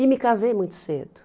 E me casei muito cedo.